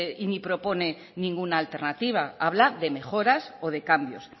ni propone ninguna alternativa habla de mejoras o de cambios